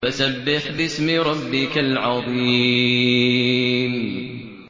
فَسَبِّحْ بِاسْمِ رَبِّكَ الْعَظِيمِ